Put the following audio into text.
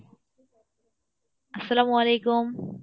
আসসলামু আলাইকুম।